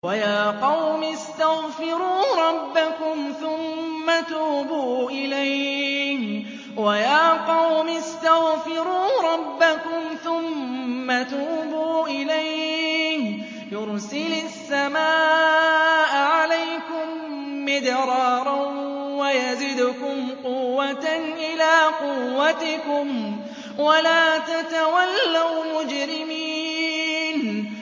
وَيَا قَوْمِ اسْتَغْفِرُوا رَبَّكُمْ ثُمَّ تُوبُوا إِلَيْهِ يُرْسِلِ السَّمَاءَ عَلَيْكُم مِّدْرَارًا وَيَزِدْكُمْ قُوَّةً إِلَىٰ قُوَّتِكُمْ وَلَا تَتَوَلَّوْا مُجْرِمِينَ